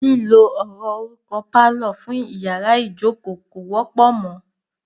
Lílo ọ̀rọ̀ orúkọ "pálọ̀" fún iyàrá ìjókó kò wọ́pọ̀ mọ.